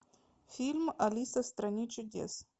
фильм алиса в стране чудес